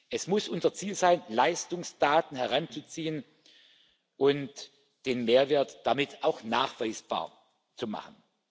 Es muss unser Ziel sein, Leistungsdaten heranzuziehen und den Mehrwert damit auch nachweisbar zu machen.